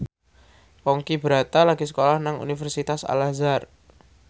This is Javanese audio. Ponky Brata lagi sekolah nang Universitas Al Azhar